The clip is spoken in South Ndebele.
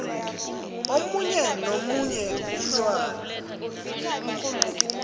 omunye nomunye umntwana